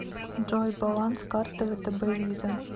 джой баланс карты втб виза